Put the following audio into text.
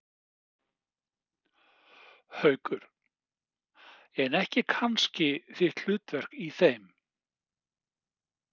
Haukur: En ekki kannski þitt hlutverk í þeim?